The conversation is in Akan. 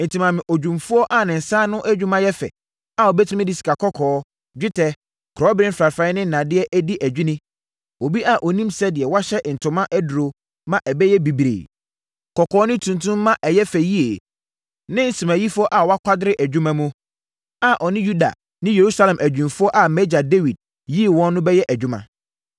“Enti, ma me odwumfoɔ a ne nsa ano adwuma yɛ fɛ a ɔbɛtumi de sikakɔkɔɔ, dwetɛ, kɔbere mfrafraeɛ ne nnadeɛ adi adwini; obi a ɔnim sɛdeɛ wɔhyɛ ntoma aduro ma ɛyɛ bibire, kɔkɔɔ ne tuntum ma ɛyɛ fɛ yie ne nsemayifoɔ a wakwadare adwuma mu, a ɔne Yuda ne Yerusalem adwumfoɔ a mʼagya Dawid yii wɔn no bɛyɛ adwuma.